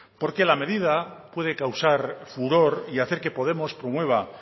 porque la medida puede causar furor y hacer que podemos promueva